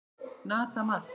NASA- Mars.